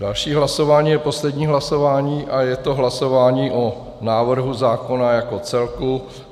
Další hlasování je poslední hlasování a je to hlasování o návrhu zákona jako celku.